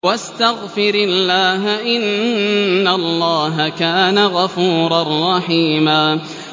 وَاسْتَغْفِرِ اللَّهَ ۖ إِنَّ اللَّهَ كَانَ غَفُورًا رَّحِيمًا